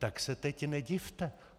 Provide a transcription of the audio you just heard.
Tak se teď nedivte.